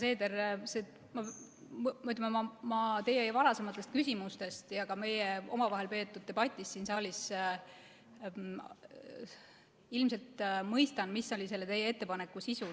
Härra Seeder, ma teie varasematest küsimustest ja ka meie omavahel peetud debatist siin saalis ilmselt mõistan, mis oli teie ettepaneku sisu.